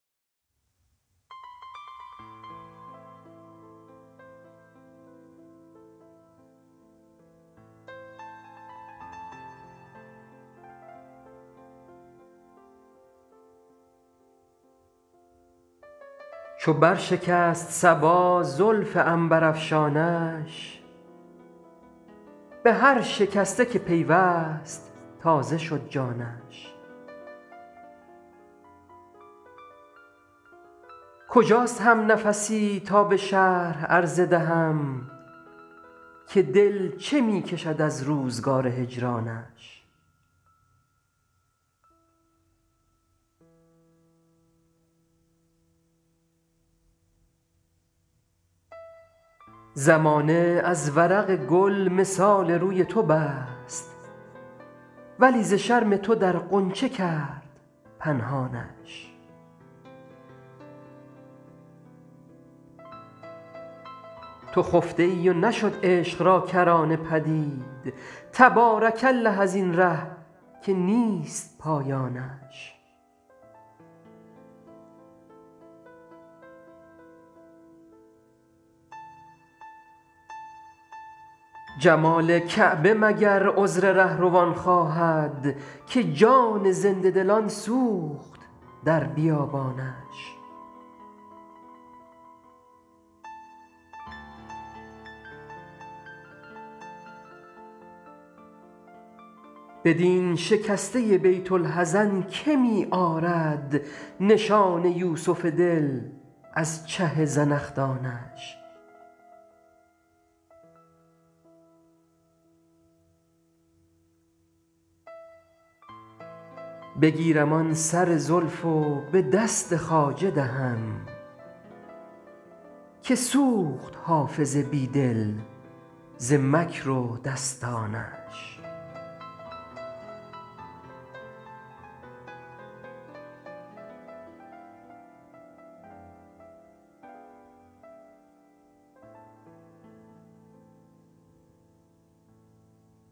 چو بر شکست صبا زلف عنبرافشانش به هر شکسته که پیوست تازه شد جانش کجاست همنفسی تا به شرح عرضه دهم که دل چه می کشد از روزگار هجرانش زمانه از ورق گل مثال روی تو بست ولی ز شرم تو در غنچه کرد پنهانش تو خفته ای و نشد عشق را کرانه پدید تبارک الله از این ره که نیست پایانش جمال کعبه مگر عذر رهروان خواهد که جان زنده دلان سوخت در بیابانش بدین شکسته بیت الحزن که می آرد نشان یوسف دل از چه زنخدانش بگیرم آن سر زلف و به دست خواجه دهم که سوخت حافظ بی دل ز مکر و دستانش